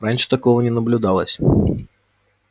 раньше такого не наблюдалось